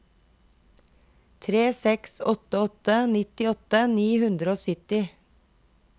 tre seks åtte åtte nittiåtte ni hundre og sytti